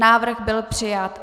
Návrh byl přijat.